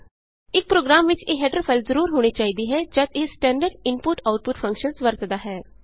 ਇਕ ਪ੍ਰੋਗਰਾਮ ਵਿਚ ਇਹ ਹੈਡਰ ਫਾਈਲ ਜਰੂਰ ਹੋਣੀ ਚਾਹੀਦੀ ਹੈ ਜਦ ਇਹ ਸਟੈਂਡਰਡ ਇਨਪੁਟਆਉਟਪੁਟ ਫੰਕਸ਼ਨਸ ਵਰਤਦਾ ਹੈ